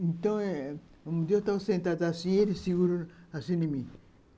Então, um dia eu estava sentado assim e ele segurou assim em mim.